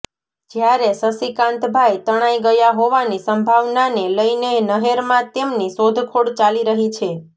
જ્યારે શશીકાંતભાઈ તણાઈ ગયા હોવાની સંભાવનાને લઈને નહેરમાં તેમની શોધખોળ ચાલી રહી છે